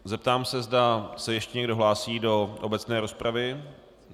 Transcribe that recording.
Zeptám se, zda se ještě někdo hlásí do obecné rozpravy.